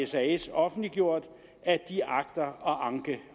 sas offentliggjort at de agter at anke